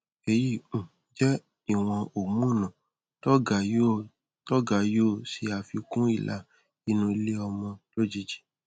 èyí um jẹ ìwọn homonu tó ga yóò tó ga yóò ṣe àfikún ìlà inú iléọmọ lójijì